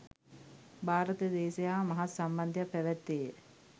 භාරත දේශය හා මහත් සම්බන්ධයක් පැවැත්තේය.